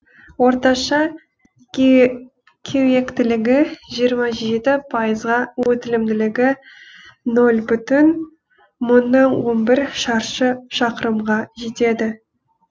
орташа кеуектілігі жиырма жеті пайызға өтілімділігі нөл бүтін мыңнан он бір шаршы шақырымға жетеді